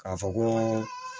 K'a fɔ ko